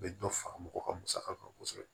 U bɛ dɔ fara mɔgɔ ka musaka kan kosɛbɛ